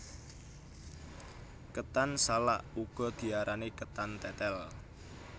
Ketan salak uga diarani ketan tetel